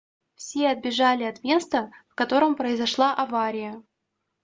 все отбежали от места в котором произошла авария